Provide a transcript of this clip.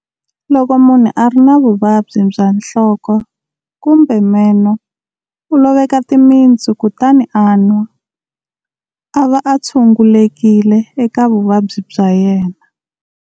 Loko munhu a ri na vuvabyi bya nhloko kumbe meno u loveka timitsu kutani a nwa, a va a tshungulekile eka vuvabyi bya yena.